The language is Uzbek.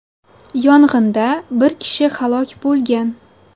Yong‘inda bir kishi halok bo‘lgan.